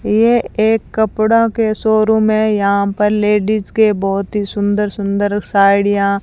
यह एक कपड़ों के शोरूम है यहां पर लेडिस के बहुत ही सुंदर सुंदर साड़ियां --